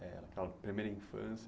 Eh aquela primeira infância.